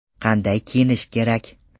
Qanday kiyinish kerak?